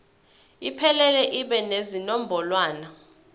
iphelele ibe nezinombolwana